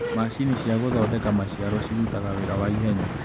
Macini cia gũthondeka maciaro cirutaga wĩra wa ihenya.